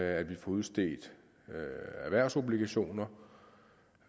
at vi får udstedt erhvervsobligationer